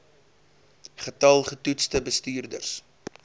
getal getoetste bestuurders